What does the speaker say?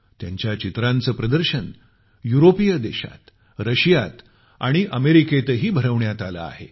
त्यांच्या पेंटिंगचं प्रदर्शन युरोपीय देशांत रशियात आणि अमेरिकेतही भरवण्यात आलं आहे